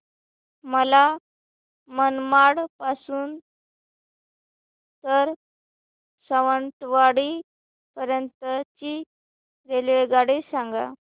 मला मनमाड पासून तर सावंतवाडी पर्यंत ची रेल्वेगाडी सांगा